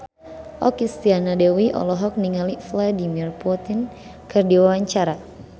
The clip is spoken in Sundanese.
Okky Setiana Dewi olohok ningali Vladimir Putin keur diwawancara